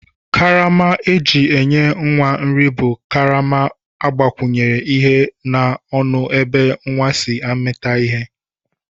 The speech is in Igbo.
Karama eji enye nwa nri bu karama agbakwunye ihe na ọnụ ebe nwa si amita ihe.